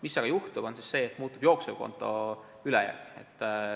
Mis aga juhtub, on see, et muutub jooksevkonto ülejääk.